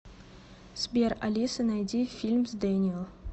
сбер алиса найди фильм с дэниел